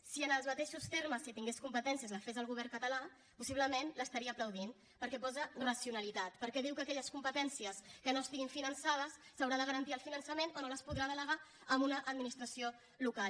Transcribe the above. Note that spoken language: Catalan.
si en els mateixos termes si en tingués competències la fes el govern català possiblement l’estaria aplaudint perquè posa racionalitat perquè diu que d’aquelles competències que no estiguin finançades se n’haurà de garantir el finançament o no les podrà delegar a una administració local